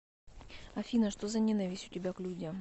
афина что за ненависть у тебя к людям